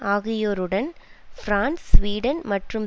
ஆகியோருடன் France Sweden மற்றும்